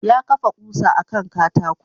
Ya kafa ƙusa a kan katako.